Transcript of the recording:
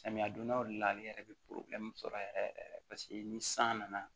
Samiya dondaw de la ale yɛrɛ bɛ sɔrɔ yɛrɛ yɛrɛ paseke ni san nana